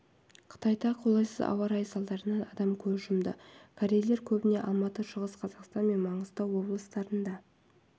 қытайда қолайсыз ауа райы салдарынан адам көз жұмды корейлер көбіне алматы шығыс қазақстан мен маңғыстау облыстарында